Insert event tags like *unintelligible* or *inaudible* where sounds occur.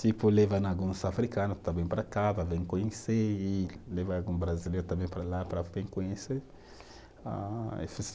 Tipo levando alguns africano também para cá, para vir conhecer, e levar algum brasileiro também para lá para *unintelligible* conhecer. *unintelligible*